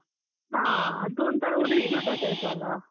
ಹಾ, ಅದೊಂತರ ಶೀತ type ಅಲ.